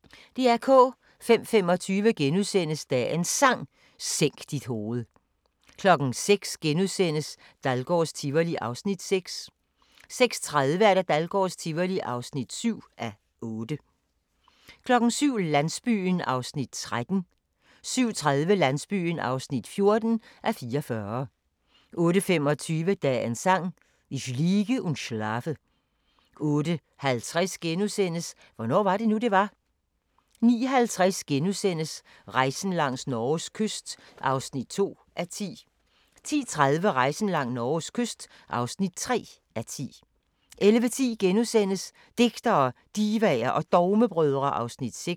05:25: Dagens Sang: Sænk dit hoved * 06:00: Dahlgårds Tivoli (6:8)* 06:30: Dahlgårds Tivoli (7:8) 07:00: Landsbyen (13:44) 07:30: Landsbyen (14:44) 08:25: Dagens Sang: Ich liege und schlafe 08:50: Hvornår var det nu, det var? * 09:50: Rejsen langs Norges kyst (2:10)* 10:30: Rejsen langs Norges kyst (3:10) 11:10: Digtere, Divaer og Dogmebrødre (Afs. 6)*